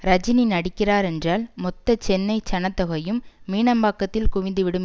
ரஜினி நடிக்கிறார் என்றால் மொத்த சென்னை ஜனத்தொகையும் மீனம்பாக்கத்தில் குவிந்துவிடும்